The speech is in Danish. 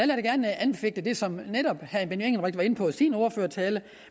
da gerne anfægte det som netop herre benny engelbrecht var inde på i sin ordførertale